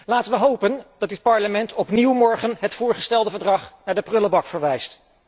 Laten we hopen dat dit Parlement morgen opnieuw het voorgestelde verdrag naar de prullenbak verwijst.